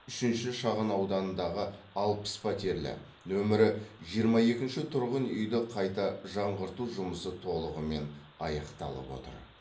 үшінші шағын ауданындағы алпыс пәтерлі нөмірі жиырма екінші тұрғын үйді қайта жаңғырту жұмысы толығымен аяқталып отыр